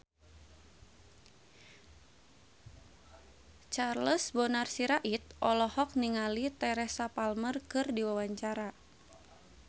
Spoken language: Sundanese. Charles Bonar Sirait olohok ningali Teresa Palmer keur diwawancara